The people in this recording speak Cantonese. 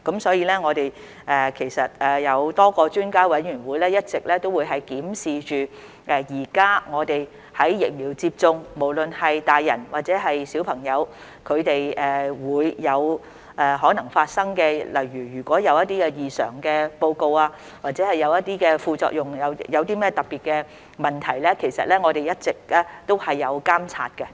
所以，我們其實是有多個專家委員會一直檢視現時在疫苗接種時，不論是大人或小朋友可能發生的情況，例如出現一些異常報告或副作用或一些特別問題時，我們一直也有監察。